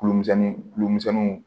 Kulu misɛnni kulu misɛnniw